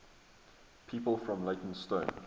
people from leytonstone